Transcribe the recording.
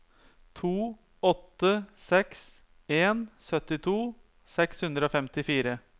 to åtte seks en syttito seks hundre og femtifire